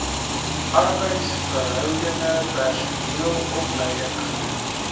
arbeidsverhoudinge personeelopleiding gedoen